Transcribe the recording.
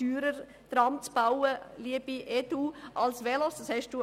Der Verlust zugunsten des ÖV ist vielleicht kein grosses Problem.